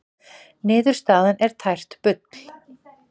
Niðurstaðan tært bull